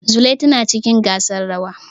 Zulai tana cikin gasar rawar.